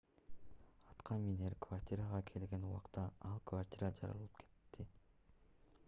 аткаминер квартирага келген убакта ал квартира жарылып кетти